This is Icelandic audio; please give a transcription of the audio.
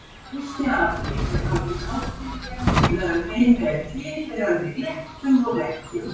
Fyrsti apríl er haldinn hátíðlegur víða um heim með tilheyrandi glettum og hrekkjum.